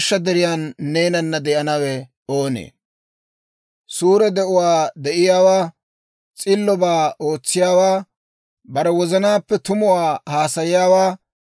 Suure de'uwaa de'iyaawaa, S'illobaa ootsiyaawaa, bare wozanaappe tumuwaa haasayiyaawaa,